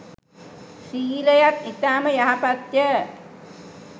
සීලයත් ඉතාම යහපත්ය